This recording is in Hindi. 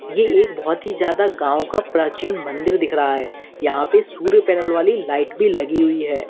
ये एक बहोत ही ज्यादा गांव का प्राचीन मंदिर दिख रहा है यहां पर सूर्य पैनल वाली लाइट भी लगी हुई है।